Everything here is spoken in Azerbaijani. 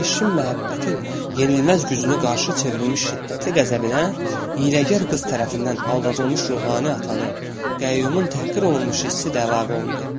Keşixin məhəbbətin yenilməz gücünü qarşı çevrilmiş şiddətli qəzəbinə, hiyləkar qız tərəfindən aldadılmış ruhani atanın, qəyyumun təhqir olunmuş hissi də əlavə olundu.